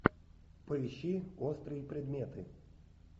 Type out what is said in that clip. поищи острые предметы